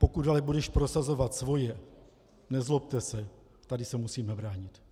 Pokud ale budeš prosazovat svoje, nezlobte se, tady se musíme bránit.